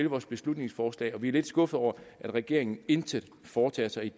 vores beslutningsforslag og vi er lidt skuffede over at regeringen intet foretager sig